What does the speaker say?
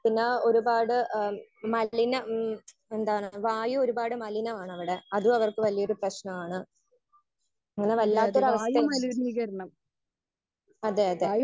Speaker 1 പിന്നെ ഒരുപാട് ഏഹ് മലിന ഹമ് എന്താണ് വായു ഒരുപാട് മലിനമാണ് അവിടെ അതും അവർക്ക് വലിയൊരു പ്രശ്നമാണ്. അങ്ങനെ വല്ലാത്ത ഒരു അവസ്ഥയാണ്. അതെ അതെ